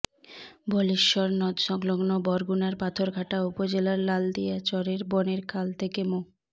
বলেশ্বর নদসংলগ্ন বরগুনার পাথরঘাটা উপজেলার লালদিয়া চরের বনের খাল থেকে মো